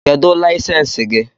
Kedu layisensi gị?